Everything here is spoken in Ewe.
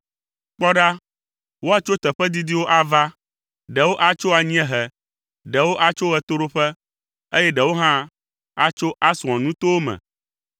Kpɔ ɖa, woatso teƒe didiwo ava. Ɖewo atso anyiehe, ɖewo atso ɣetoɖoƒe, eye ɖewo hã atso Aswan nutowo me.”